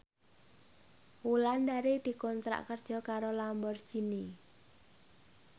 Wulandari dikontrak kerja karo Lamborghini